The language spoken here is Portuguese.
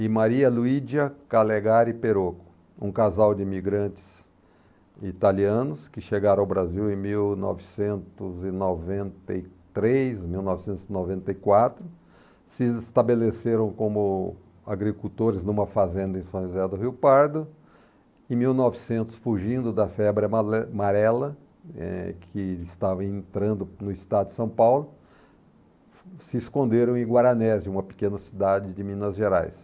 e Maria Luídia Calegari Perocco, um casal de imigrantes italianos que chegaram ao Brasil em mil novecentos e noventa e três, mil novecentos e voventa e quatro, se estabeleceram como agricultores numa fazenda em São José do Rio Pardo e, em mil e novecentos, fugindo da febre amarela eh, que estava entrando no estado de São Paulo, se esconderam em Guaranés, uma pequena cidade de Minas Gerais.